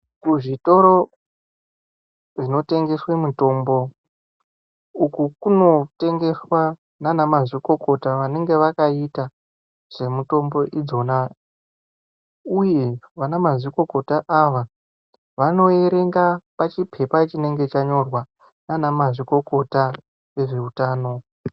Kuzvitoro zvinotengeswe mitombo, uku kunotengeswa nana mazvikokota vanenge vakaita zvemitombo idzona uye vana mazvikokota ava vanoerenga pachiphepa chinenge chanyorwa nana mazvikokota vezveutano.